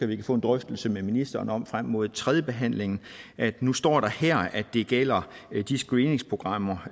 vi kan få en drøftelse med ministeren om frem mod tredjebehandlingen at nu står der her at det gælder de screeningsprogrammer